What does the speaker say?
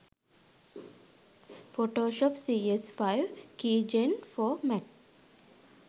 photoshop cs5 keygen for mac